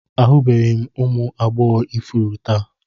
Ahụbeghị m ụmụ agbọghọ ifuru taa